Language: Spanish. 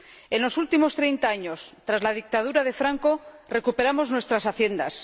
En los últimos treinta años, tras la dictadura de Franco, recuperamos nuestras haciendas.